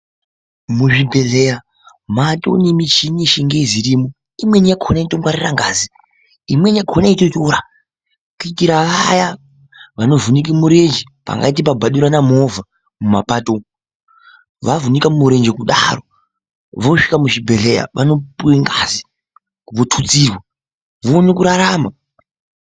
Muzvibhedhlera matonemichini yechingezi irimo, imweni yakona inoto ngwarira ngazi, inweni yakona yeitotora kuitira vaya vanovhunike murenje pangaite pabhadurana movha mumapato umu vavhunika murenje kudaro vosvika muzvibhedhlera vanopuwe ngazi votutsirwa vaone kurarama.